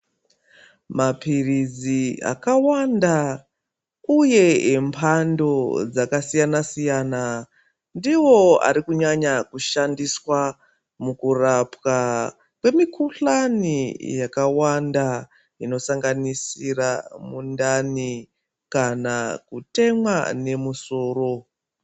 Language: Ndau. Mapirizi aka wanda uye embando dzaka siyana siyana ndiwo ari kunyanya ku shandiswa muku rapwa kwe mikuhlani yakawanda ino sanganisira mundani kana kutemwa ne musoro.